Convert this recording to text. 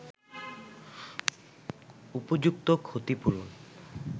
উপযুক্ত ক্ষতিপূরণ